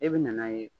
E bɛ na n'a ye